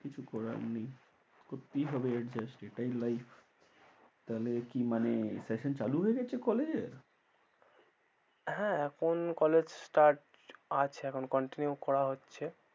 কিছু করার নেই করতেই হবে adjust এটাই life তাহলে কি মানে session চালু হয়ে গেছে college এর? হ্যাঁ এখন college start আছে এখন continue করা হচ্ছে।